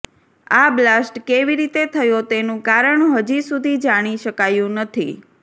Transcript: આ બ્લાસ્ટ કેવી રીતે થયો તેનું કારણ હજી સુધી જાણી શકાયું નથી